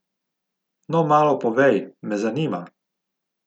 No malo povej, me zanima.